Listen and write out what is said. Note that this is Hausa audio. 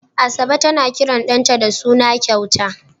Asabe tana kiran ɗanta da suna kyauta.